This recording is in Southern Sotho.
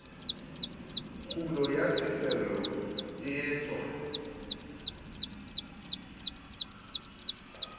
kgulo ya ditefello e etswang